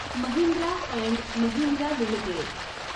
Mahindra and Mahindra limited